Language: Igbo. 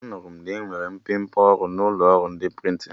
Anụrụ m na-enwere mmepe ọrụ n'ụlọ ọrụ ndị prịntịn